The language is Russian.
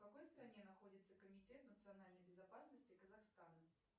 в какой стране находится комитет национальной безопасности казахстана